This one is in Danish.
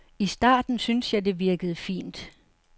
I starten syntes jeg, at det virkede fint.